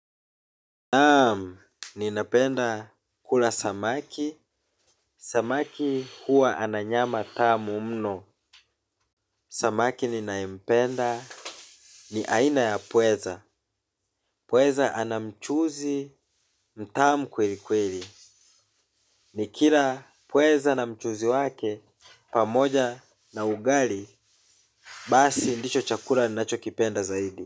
Naam, ninapenda kula samaki, samaki huwa ana nyama tamu mno, samaki ninayependa ni aina ya pweza, pweza ana mchuzi mtamu kweli kweli, nikila pweza na mchuzi wake pamoja na ugali, basi ndicho chakula ninachokipenda zaidi.